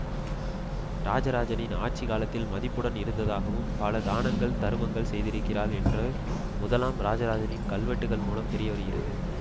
இராஜராஜனின் ஆட்சி காலத்தில் மதிப்புடன் இருந்ததாகவும் பல தானங்கள் தருமங்கள் செய்திருக்கிறாள் என்று முதலாம் இராஜராஜனின் கல்வெட்டுக்கள் மூலம் தெரியவருகிறது